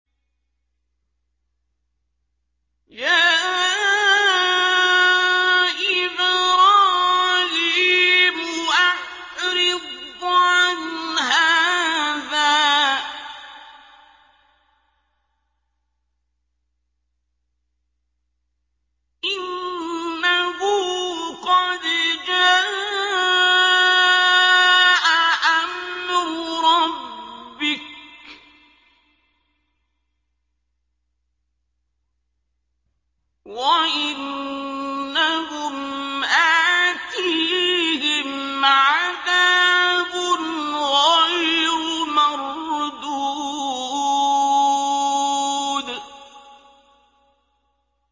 يَا إِبْرَاهِيمُ أَعْرِضْ عَنْ هَٰذَا ۖ إِنَّهُ قَدْ جَاءَ أَمْرُ رَبِّكَ ۖ وَإِنَّهُمْ آتِيهِمْ عَذَابٌ غَيْرُ مَرْدُودٍ